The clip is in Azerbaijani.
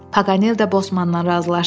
Paqanel də bosmandan razılaşdı.